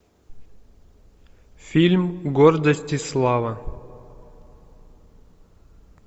фильм гордость и слава